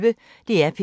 DR P1